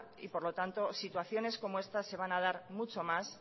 y por lo tanto situaciones como estas se van a dar mucho más